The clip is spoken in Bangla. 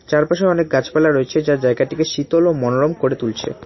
চারপাশে অনেক গাছপালা রয়েছে যা জায়গাটিকে শীতল ও মনোরম করে তুলছে।